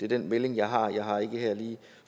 den melding jeg har og jeg har ikke lige her